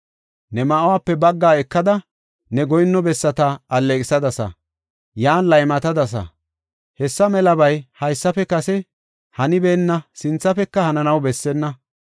Ne ma7uwape baggaa ekada, ne goyinno bessata alleeqisadasa; yan laymatadasa. Hessa melabay haysafe kase hanibeenna; sinthafeka hananaw bessenna.